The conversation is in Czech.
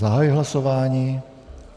Zahajuji hlasování.